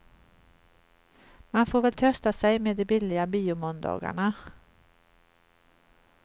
Man får väl trösta sig med de billiga biomåndagarna.